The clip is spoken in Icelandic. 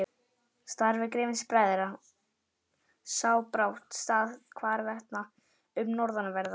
Starfi Grimms-bræðra sá brátt stað hvarvetna um norðanverða